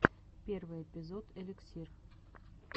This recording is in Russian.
первый эпизод эликсир